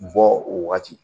Bɔ o wagati